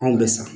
Anw bɛ sa